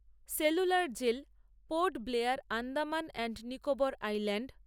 cellular jail Port Blair Andaman and Nicobar island